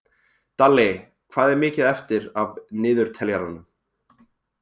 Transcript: Dalli, hvað er mikið eftir af niðurteljaranum?